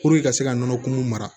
ka se ka nɔnɔkunw mara